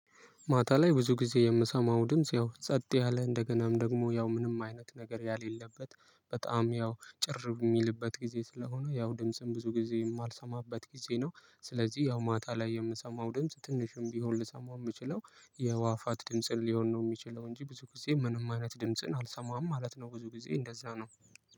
ማታ ላይ ብዙ ጊዜ የምሰማው ድምጽ ያው ጸጥ ያለ እንደገናም ደግሞ ያው ምንም አይነት ነገር የሌለበት በጣም ያው ጭር የሚልበት ጊዜ ስለሆነ ያው ድምጽም ብዙ ጊዜ የማልሰማበት ጊዜ ነው ስለዚህ ያው ማታ ላይ የምሰማው ድምጽ ትንሽም ቢሆን ልሰማው የምችለው የአዋፋት ድምጽን ሊሆን ነው የሚችለው እንጂ ብዙ ጊዜ ምንም አይነት ድምጽን አልሰማም ማለት ነው ብዙ ጊዜ እንደዛ ነው።